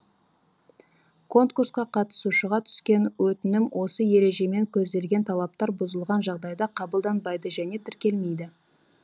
конкурсқа қатысушыға түскен өтінім осы ережемен көзделген талаптар бұзылған жағдайда қабылданбайды және тіркелмейді